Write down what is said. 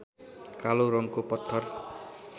कालो रङको पत्थर